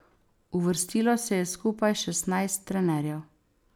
Uvrstilo se je skupaj šestnajst trenerjev.